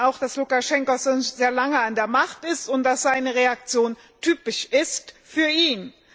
Wir wissen auch, dass Lukaschenka schon sehr lange an der Macht ist und dass seine Reaktion typisch ist für ihn.